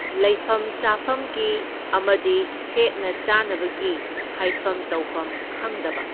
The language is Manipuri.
ꯂꯩꯐꯝ ꯆꯥꯐꯝꯒꯤ ꯑꯃꯗꯤ ꯁꯦꯠꯅ ꯆꯥꯅꯕꯒꯤ ꯍꯥꯏꯐꯝ ꯇꯧꯐꯝ ꯈꯪꯗꯕ꯫